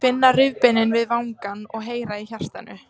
Finna rifbeinin við vangann og heyra í hjartanu.